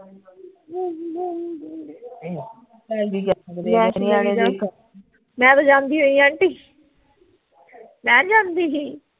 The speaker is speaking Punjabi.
ਮੈਂ ਤਾਂ ਜਾਂਦੀ ਹੋਈ ਐ aunty ਮੈਂ ਨਹੀਂ ਜਾਂਦੀ ਗੀ